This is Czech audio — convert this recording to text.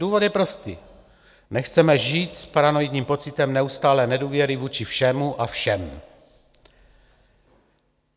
Důvod je prostý: nechceme žít s paranoidním pocitem neustálé nedůvěry vůči všemu a všem.